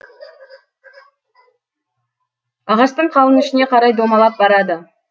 ағаштың қалың ішіне қарай домалап барады